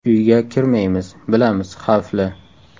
Uyga kirmaymiz, bilamiz, xavfli.